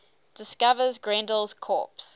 discovers grendel's corpse